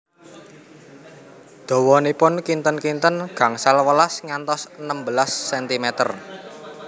Dawanipun kinten kinten gangsal welas ngantos enem belas sentimer